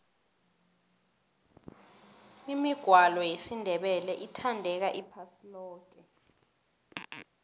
imigwalo yesindebele ithandeka iphasi loke